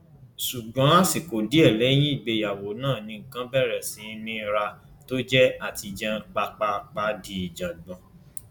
ṣùgbọn àsìkò díẹ lẹyìn ìgbéyàwó náà ni nǹkan bẹrẹ sí í nira tó jẹ àtijẹun pàápàpá di ìjàngbọn